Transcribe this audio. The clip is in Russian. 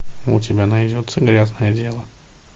у тебя найдется грязное дело